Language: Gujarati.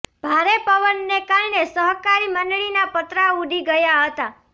ભારે પવનને કારણે સહકારી મંડળીના પતરા ઉડી ગયા હતા